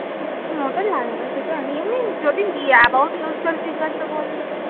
লাগে না সেটা আমি এমনি যদি about yourself জিজ্ঞাসা করলে তো